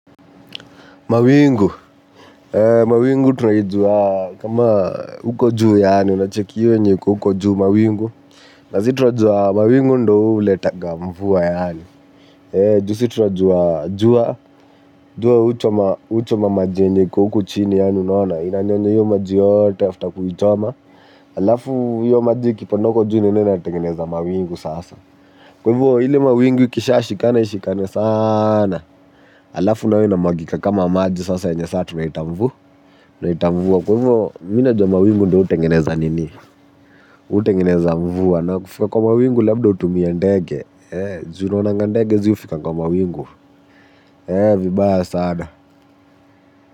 Mawingu. Mawingu tunaijua kama huko juu yaani, una cheki hiyo yenye iko huko juu mawingu. Na si tunajua mawingu ndo huletanga mvua yaani juu si tunajua jua, jua huchoma maji yenye iko huku chini yani unaona inanyonya hio maji yote after kuichoma alafu hio maji ikipanda huko juu inaenda inatengeneza mawingu sasa. Kwa hivo ile mawingu ikishashikana ishikane sana alafu nayo inamwagika kama maji yenye sasa tunaiita mvua tunaiita mvua. Kwa hivyo, mi najua mawingu ndo hutengeneza nini hutengeneza mvua na kufika kwa mawingu labda utumia ndege juu unaonanga ndege ziufika kwa mawingu vibaya sana.